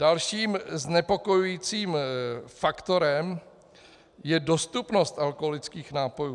Dalším znepokojujícím faktorem je dostupnost alkoholických nápojů.